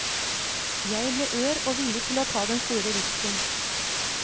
Jeg ble ør og villig til å ta den store risken.